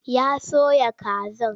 Ya soya kazar.